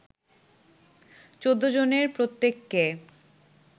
১৪ জনের প্রত্যেককে